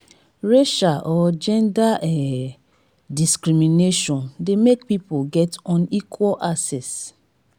racial or gender um discrimination de make pipo get unequal access